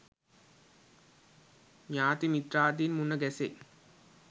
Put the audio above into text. ඥාති මිත්‍රාදීන් මුණ ගැසෙයි.